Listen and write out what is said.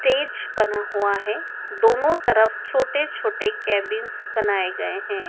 तेज बना हुआ है दोनों तरफ छोटे छोटे केबिनस बनाए गए हैं।